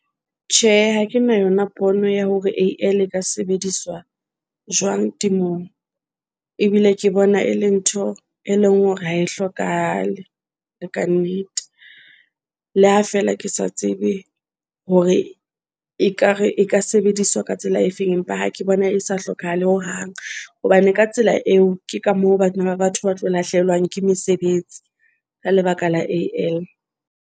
Tjhe, ha ke na yona pono ya hore A-l e ka sebediswa jwang temong ebile ke bona, e le ntho e leng hore ha e hlokahale le kannete. Le ha feela ke sa tsebe hore ekare e ka sebediswa ka tsela e feng, empa ha ke bona e sa hlokahale hohang. Hobane ka tsela eo ke ka moo bana ba batho ba tlo lahlehelwa ke mesebetsi ka lebaka la A-l.